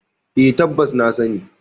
E, tabbas na sani.